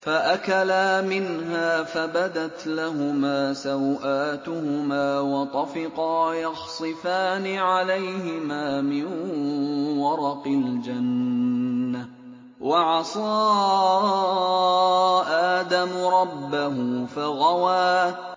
فَأَكَلَا مِنْهَا فَبَدَتْ لَهُمَا سَوْآتُهُمَا وَطَفِقَا يَخْصِفَانِ عَلَيْهِمَا مِن وَرَقِ الْجَنَّةِ ۚ وَعَصَىٰ آدَمُ رَبَّهُ فَغَوَىٰ